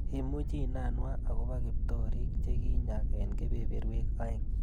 Imuchi inanwa akobo kiptorik che kinyak eng kebeberwek aeng.